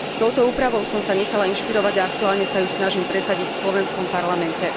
Touto úpravou som sa nechala inšpirovať a aktuálne sa ju snažím presadiť aj v slovenskom parlamente.